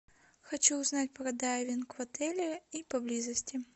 хочу узнать про дайвинг в отеле и поблизости